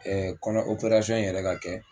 Ɛɛ kɔnɔ operasɔn in yɛrɛ ka kɛ.